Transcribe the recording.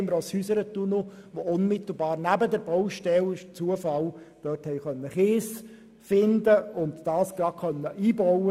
Dort fand man zufälligerweise neben der Baustelle Kies, den man einbaute.